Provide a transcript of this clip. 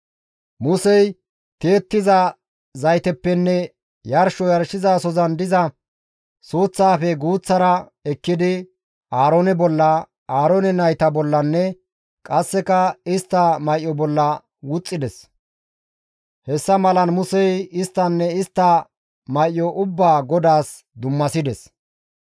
Musey tiyettiza zayteppenne yarsho yarshizasozan diza suuththaafe guuththara ekkidi Aaroone bolla, Aaroone nayta bollanne qasseka istta may7o bolla wuxxides; hessa malan Musey isttanne istta may7o ubbaa GODAAS dummasides.